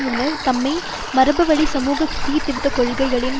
முன்னர் தம்மை மரபுவழி சமூக சீர்திருத்த கொள்கைகளின்